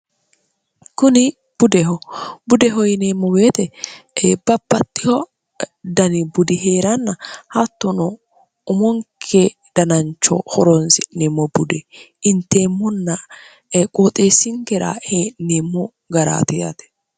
kuni budehobude hoyineemmo beetebapattiho dani budi hee'ranna hattono umonke danancho horoonsi'nemmo budi inteemmonna qooxeessingira hee'neemmo garaatiyate